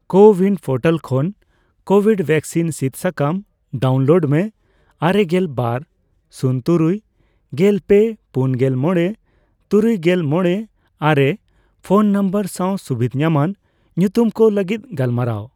CoWIN portal ᱠᱷᱚᱱ Covid vaccine ᱥᱤᱫ ᱥᱟᱠᱟᱢ ᱰᱟᱣᱩᱱᱞᱳᱰ ᱢᱮ ᱟᱨᱮᱜᱮᱞ ᱵᱟᱨ ,ᱥᱩᱱ ᱛᱩᱨᱩᱭ ,ᱜᱮᱞ ᱯᱮ ,ᱯᱩᱱᱜᱮᱞ ᱢᱚᱲᱮ ,ᱛᱩᱨᱩᱭᱜᱮᱞ ᱢᱚᱲᱮ ,ᱟᱨᱮ ᱯᱷᱚᱱ ᱱᱚᱢᱵᱚᱨ ᱥᱟᱣ ᱥᱩᱵᱤᱫᱷ ᱧᱟᱢᱟᱱ ᱧᱩᱛᱩᱢ ᱠᱚ ᱞᱟᱹᱜᱤᱫ ᱜᱟᱞᱢᱟᱨᱟᱣ ᱾